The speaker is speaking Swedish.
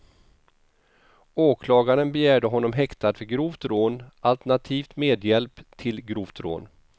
Åklagaren begärde honom häktad för grovt rån, alternativt medhjälp till grovt rån.